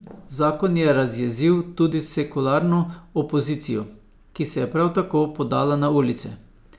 Zakon je razjezil tudi sekularno opozicijo, ki se je prav tako podala na ulice.